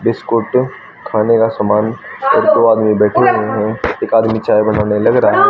Biscuit खाने का सामान और दो आदमी बैठे हुए हैं एक आदमी चाय बनाने लग रहा है।